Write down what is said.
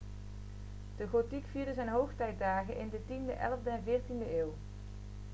de gotiek vierde zijn hoogtijdagen in de 10e 11e en 14e eeuw